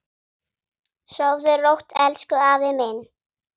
Sofðu rótt, elsku afi minn.